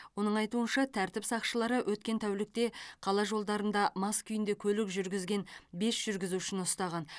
оның айтуынша тәртіп сақшылары өткен тәулікте қала жолдарында мас күйінде көлік жүргізген бес жүргізушіні ұстаған